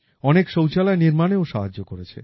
অনেক শৌচালয় নির্মাণেও সাহায্য করেছে